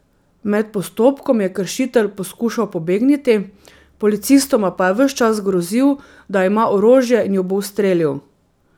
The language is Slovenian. Med postopkom je kršitelj poskušal pobegniti, policistoma pa je ves čas grozil, da ima orožje in ju bo ustrelil.